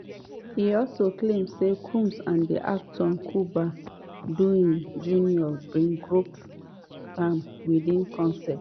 e also claim say combs and actor cuba gooding jr bin grope am without consent.